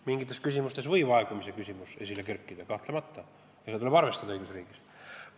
Mingites küsimustes võib aegumise probleem esile kerkida kahtlemata ja seda tuleb õigusriigis arvestada.